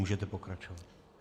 Můžete pokračovat.